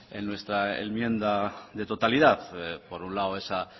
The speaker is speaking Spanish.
en nuestra enmienda de totalidad por un lado esa